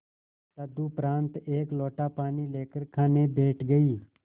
तदुपरांत एक लोटा पानी लेकर खाने बैठ गई